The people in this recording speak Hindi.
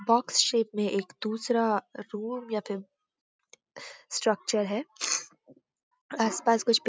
बॉक्स शेप में एक दूसरा रूम या फिर स्ट्रक्चर है आसपास कुछ --